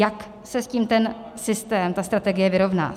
Jak se s tím ten systém, ta strategie vyrovná?